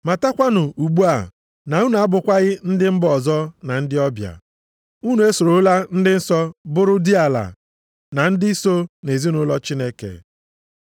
Matakwanụ ugbu a na unu abụkwaghị ndị mba ọzọ na ndị ọbịa. Unu esorola ndị nsọ bụrụ diala na ndị so nʼezinaụlọ Chineke,